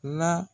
La